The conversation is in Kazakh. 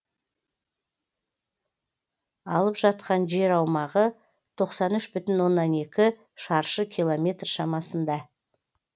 алып жатқан жер аумағы тоқсан үш бүтін оннан екі шаршы километр шамасында